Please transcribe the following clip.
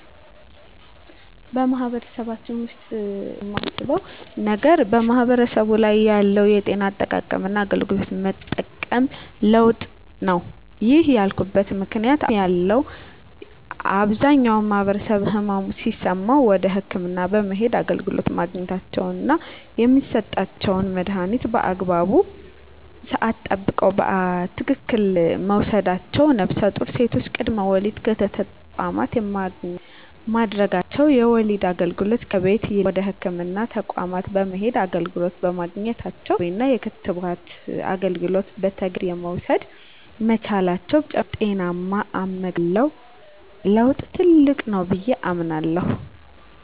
በማህበረሰባችን ውሰጥ ያየሁት ትልቅ ለውጥ ብየ የማስበው ነገር ማህበረሰቡ ላይ ያለው የጤና አጠባበቅና አገልግሎት የመጠቀም ለውጥ ነው። ይህን ያልኩበት ምክንያት አሁን ላይ ያለው አብዛኛው ማህበረሰብ ህመም ሲሰማው ወደ ህክምና በመሄድ አገልግሎት ማግኘታቸውና የሚሰጣቸውን መድሀኒት በአግባቡ ስዓት ጠብቀው በትክክል መውሰዳቸው ነፍሰጡር ሴቶች ቅድመ ወሊድ ክትትል በህክምና ተቋማት ማድረጋቸው የወሊድ አገልግሎት ከቤት ይልቅ ወደ ህክምና ተቋማት በመሄድ አገልግሎት በማግኘታቸው የድህረ ወሊድ እንክብካቤና የክትባት አገልግሎት በተገቢው መንገድ መውሰድ መቻላቸው በተጨማሪ ስለ ጤናማ አመጋገብ ያለው ለውጥ ትልቅ ነው ብየ አስባለሁ።